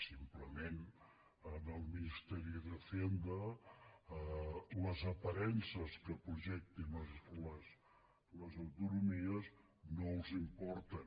simplement al ministerio de hacienda les aparences que projectin les autonomies no els importen